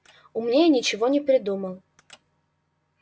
умнее ничего не придумал